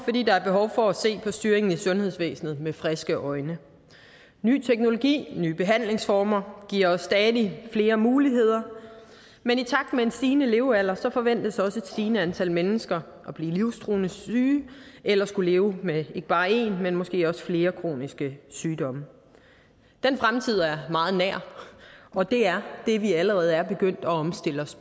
fordi der er behov for at se på styringen i sundhedsvæsenet med friske øjne ny teknologi nye behandlingsformer giver stadig flere muligheder men i takt med en stigende levealder forventes også et stigende antal mennesker at blive livstruende syge eller at skulle leve med ikke bare én men måske flere kroniske sygdomme den fremtid er meget nær og det er det vi allerede er begyndt at omstille os